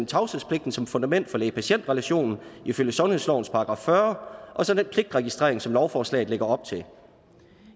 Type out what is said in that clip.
tavshedspligten som fundament for læge patient relationen ifølge sundhedslovens § fyrre og så den pligtregistrering som lovforslaget lægger op til